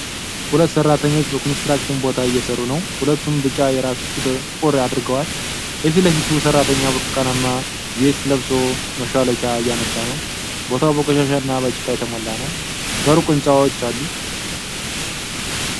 ሁለት ሰራተኞች በኮንስትራክሽን ቦታ እየሰሩ ነው። ሁለቱም ቢጫ የራስ ቁር (ሀርድ ሀት) አድርገዋል። የፊት ለፊቱ ሰራተኛ ብርቱካንማ ቬስት ለብሶ መሿለኪያ እያነሳ ነው። ቦታው በቆሻሻና በጭቃ የተሞላ ነው። በሩቅ ህንጻዎች አሉ።